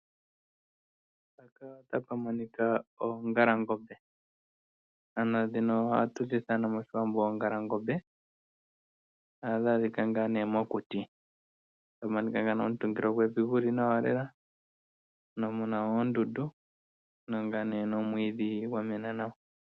Mpaka ota pa monika oongalangombe. Ano dhino ohatu dhi ithana moshiwambo oongalangombe. Ohadhi adhika ngaa nee mokuti. Ota pu monika ngaa ne omutungilo gwevi guli nawa lela muna wo oondundu. Muna ngaa ne nomwiidhi gwamena nawa.